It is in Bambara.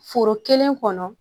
Foro kelen kɔnɔ